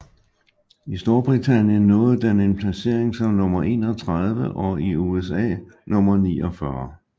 I Storbritannien nåede den en placering som nummer 31 og i USA nummer 49